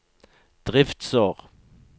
driftsår